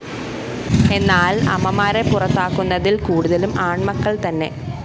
എന്നാല്‍ അമ്മമാരെ പുറത്താക്കുന്നതില്‍ കൂടുതലും ആണ്‍മക്കള്‍ത്തന്നെ